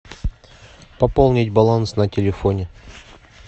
пополнить баланс на телефоне